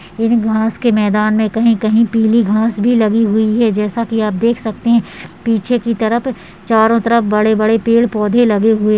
इन घांस के मैदान में कहीं-कहीं पीली घांस भी लगी हुई है जैसा कि आप देख सकते हैं पीछे की तरप चारों तरप बड़े-बड़े पेड़ पौधे लगे हुए--